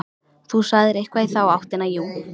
Þú sagðir eitthvað í þá áttina, jú.